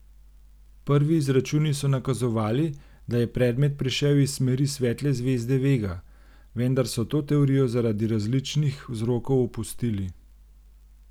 Prvi izračuni so nakazovali, da je predmet prišel iz smeri svetle zvezde Vega, vendar so to teorijo zaradi različni vzrokov opustili.